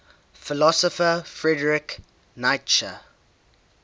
philosopher friedrich nietzsche